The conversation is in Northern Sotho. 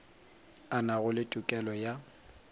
a nago le tokelo ya